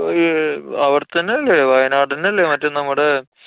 ഏർ അവട്ത്തന്നല്ലേ? വയനാടന്നല്ലേ? മറ്റേ നമ്മടെ.